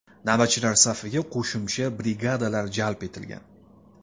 Navbatchilar safiga qo‘shimcha brigadalar jalb etilgan.